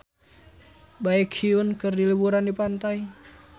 Baekhyun keur liburan di pantai